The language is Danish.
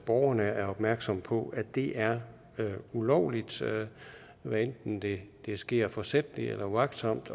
borgerne er opmærksom på at det er ulovligt hvad enten det sker forsætligt eller uagtsomt